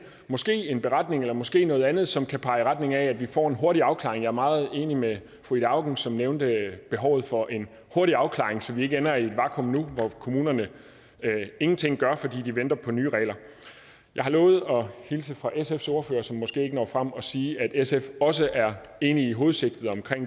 måske en beretning eller måske noget andet som kan pege i retning af at vi får en hurtig afklaring jeg er meget enig med fru ida auken som nævnte behovet for en hurtig afklaring så vi ikke nu ender i et vakuum hvor kommunerne ingenting gør fordi de venter på nye regler jeg har lovet at hilse fra sfs ordfører som måske ikke når frem og sige at sf også er enig i hovedsigtet om